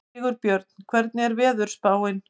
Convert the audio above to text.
Sigurbjörn, hvernig er veðurspáin?